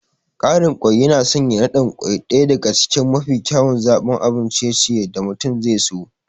Ƙarin kwai yana sanya naɗin kwai ɗaya daga cikin mafi kyawun zaɓin abun ciye-ciye da mutum zaiso.